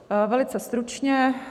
Velice stručně.